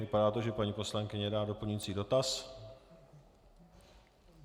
Vypadá to, že paní poslankyně dá doplňující dotaz.